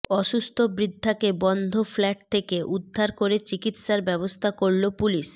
অসুস্থ বৃদ্ধাকে বন্ধ ফ্ল্যাট থেকে উদ্ধার করে চিকিৎসার ব্যবস্থা করল পুলিশ